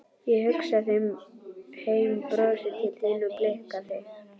Ég hugsa heim, brosi til þín og blikka þig.